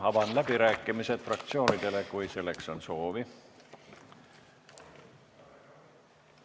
Avan läbirääkimised fraktsioonidele, kui selleks on soovi.